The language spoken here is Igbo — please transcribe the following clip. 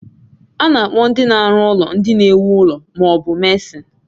A na-akpọ ndị na-arụ ụlọ ndị na-ewu ụlọ ma ọ bu Mesịn